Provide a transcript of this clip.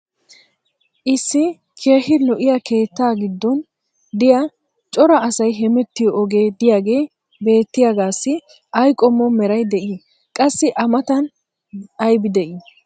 issi keehi lo'iya keettaa giddon diya cora asay hemmettiyo ogee diyaagee beetiyaagaasssi ay qommo meray dii? qassi a matan aybbi de'ii?